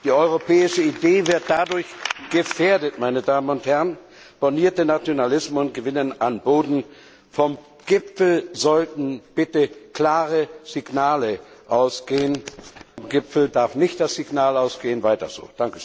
Die europäische Idee wird dadurch gefährdet, und bornierte Nationalismen gewinnen an Boden. Vom Gipfel sollten bitte klare Signale ausgehen, vom Gipfel darf nicht das Signal ausgehen Weiter so!